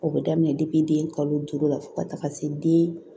O bɛ daminɛ den kalo duuru la fo ka taga se den